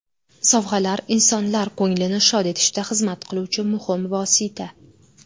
Sovg‘alar insonlar ko‘nglini shod etishda xizmat qiluvchi muhim vosita.